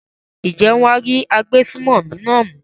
ǹjẹ́ wọn á rí agbésùmọ̀mí náà mú?